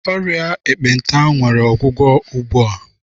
Ọrịa ekpenta nwere ọgwụgwọ ugbua.